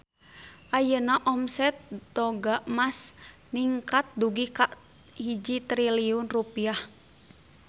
Ayeuna omset Toga Mas ningkat dugi ka 1 triliun rupiah